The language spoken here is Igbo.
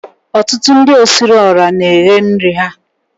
Ọtụtụ ndi osiriiora na eghe nri ha